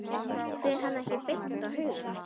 Fer hann ekki beint á haugana?